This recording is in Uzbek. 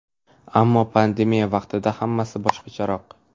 Ammo pandemiya vaqtida hammasi boshqacharoq.